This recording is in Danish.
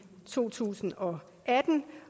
to tusind og atten